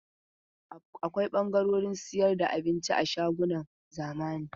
Akwai ɓangaren sayar da abinci a shagunan zamani.